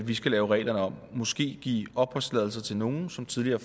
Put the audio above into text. vi skal lave reglerne om og måske give opholdstilladelser til nogle som tidligere